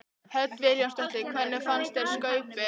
Hödd Vilhjálmsdóttir: Hvernig fannst þér Skaupið?